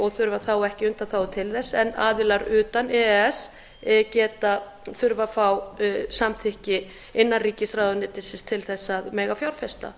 og þurfa þá ekki undanþágu til þess en aðilar utan e e s þurfa að fá samþykki innanríkisráðuneytisins til að mega fjárfesta